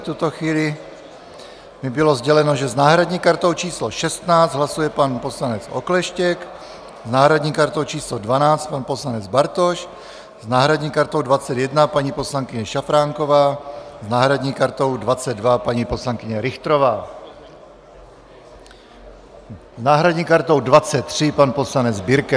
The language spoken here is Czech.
V tuto chvíli mi bylo sděleno, že s náhradní kartou číslo 16 hlasuje pan poslanec Okleštěk, s náhradní kartou číslo 12 pan poslanec Bartoš, s náhradní kartou 21 paní poslankyně Šafránková, s náhradní kartou 22 paní poslankyně Richterová, s náhradní kartou 23 pan poslanec Birke.